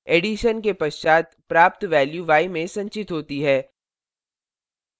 addition के पश्चात प्राप्त value y में संचित होती है